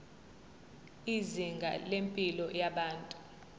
izinga lempilo yabantu